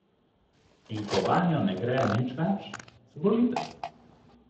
In ko vanjo ne gre nič več, zbolite.